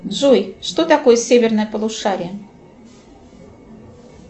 джой что такое северное полушарие